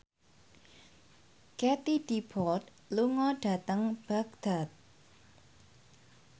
Katie Dippold lunga dhateng Baghdad